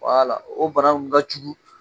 o bana ka jugu